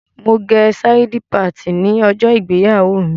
Mo gẹ sáídí patìnì ní ọjọ́ ìgbéyàwó mi.